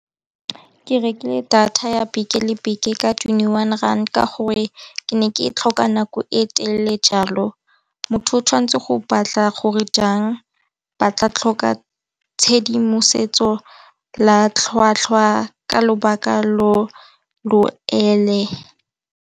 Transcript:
Ke rekile data ya beke le beke ka twenty-one rand ka gore ke ne ke e tlhoka nako e telele jalo, motho o tshwanetse go batla gore jang ba tla tlhoka tshedimosetso la tlhwatlhwa ka lobaka lo lo ele.